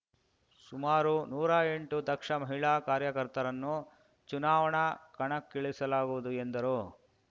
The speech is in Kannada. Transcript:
ಸುಮಾರು ನೂರಾ ಎಂಟು ದಕ್ಷ ಮಹಿಳಾ ಕಾರ್ಯಕರ್ತರನ್ನು ಚುನಾವಣಾ ಕಣಕ್ಕಿಳಿಸಲಾಗುವುದು ಎಂದರು